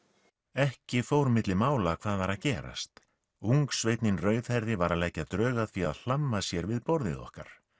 ekki fór milli mála hvað var að gerast rauðhærði var að leggja drög að því að hlamma sér við borðið okkar